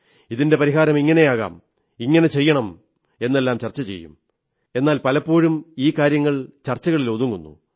ഇതിന്റെ പരിഹാരം ഇങ്ങനെയാകാം ഇങ്ങനെ ചെയ്യണം എന്നെല്ലാം എന്നാൽ പലപ്പോഴും ഈ കാര്യങ്ങൾ ചർച്ചകളിൽ ഒതുങ്ങുന്നു